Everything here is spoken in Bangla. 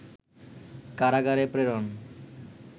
কারাগারে প্রেরণ